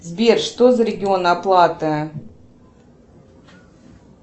сбер что за регион оплаты